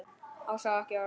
Ása á ekki orð.